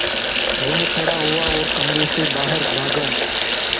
वह खड़ा हुआ और कमरे से बाहर भागा